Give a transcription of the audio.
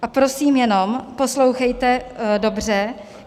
A prosím, jenom poslouchejte dobře.